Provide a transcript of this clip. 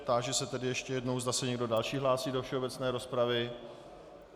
Táži se tedy ještě jednou, zda se někdo další hlásí do všeobecné rozpravy.